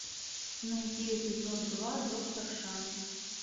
найди эпизод два доктор шанс